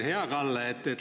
Hea Kalle!